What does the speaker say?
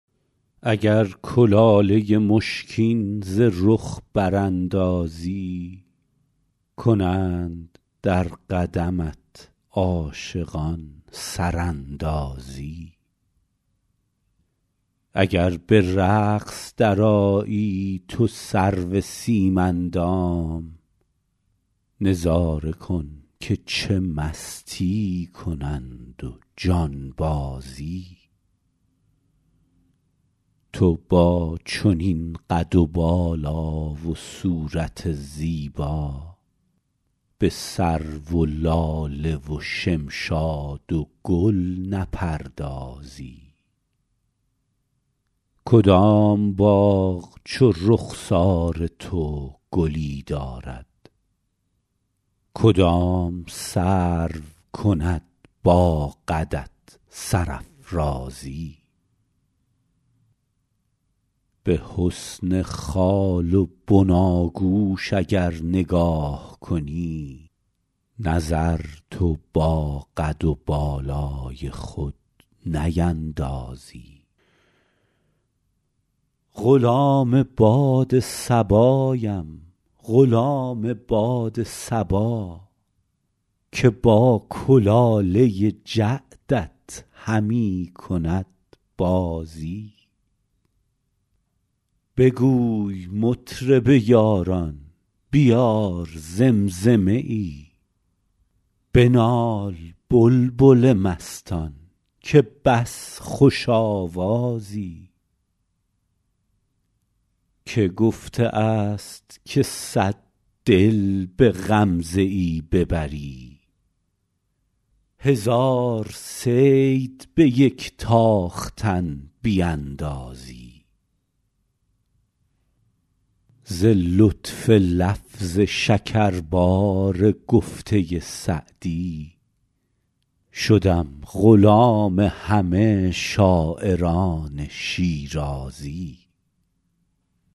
اگر کلاله مشکین ز رخ براندازی کنند در قدمت عاشقان سراندازی اگر به رقص درآیی تو سرو سیم اندام نظاره کن که چه مستی کنند و جانبازی تو با چنین قد و بالا و صورت زیبا به سرو و لاله و شمشاد و گل نپردازی کدام باغ چو رخسار تو گلی دارد کدام سرو کند با قدت سرافرازی به حسن خال و بناگوش اگر نگاه کنی نظر تو با قد و بالای خود نیندازی غلام باد صبایم غلام باد صبا که با کلاله جعدت همی کند بازی بگوی مطرب یاران بیار زمزمه ای بنال بلبل مستان که بس خوش آوازی که گفته است که صد دل به غمزه ای ببری هزار صید به یک تاختن بیندازی ز لطف لفظ شکربار گفته سعدی شدم غلام همه شاعران شیرازی